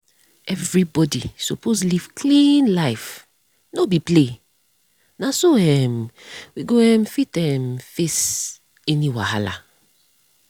everybody suppose live clean life. no be play. na so um we go um fit um face any wahala.